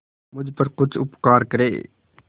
मुझ पर कुछ उपकार करें